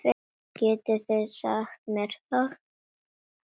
Getið þið sagt mér það?